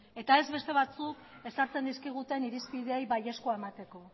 eta ez beste batzuk ezartzen dizkiguten irizpideei baiezkoa emateko